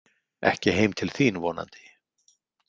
Ekki heim til þín vonandi.